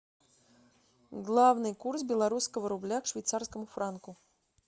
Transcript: главный курс белорусского рубля к швейцарскому франку